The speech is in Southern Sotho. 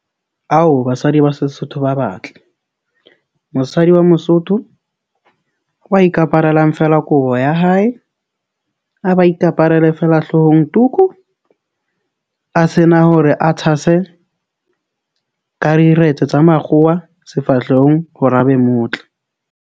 Ao, basadi ba Sesotho ba batle. Mosadi wa Mosotho wa ikaparelang feela kobo ya hae, a ba ikaparela feela hloohong, tuku a sena hore a tshase ka rediretse tsa makgowa sefahlehong hore a be motle.